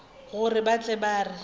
gore ba tle ba re